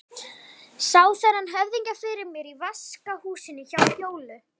Sá þennan höfðingja fyrir mér í vaskahúsinu hjá Fjólu.